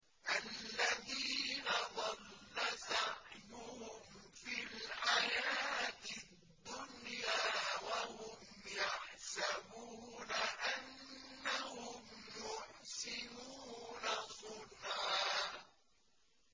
الَّذِينَ ضَلَّ سَعْيُهُمْ فِي الْحَيَاةِ الدُّنْيَا وَهُمْ يَحْسَبُونَ أَنَّهُمْ يُحْسِنُونَ صُنْعًا